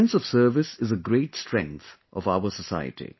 This sense of service is a great strength of our society